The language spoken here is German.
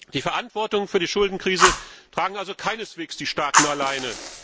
Die Verantwortung für die Schuldenkrise tragen also keineswegs die Staaten alleine.